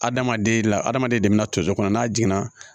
Adamaden la adamaden de bɛna to so kɔnɔ n'a jiginna